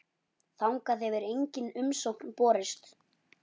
Þangað hefur engin umsókn borist.